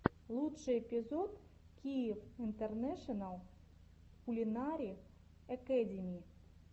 лучший эпизод киев интернэшенал кулинари экэдими